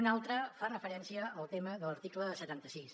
una altra fa referència al tema de l’article setanta sis